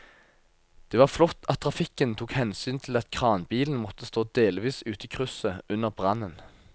Det var flott at trafikken tok hensyn til at kranbilen måtte stå delvis ute i krysset under brannen.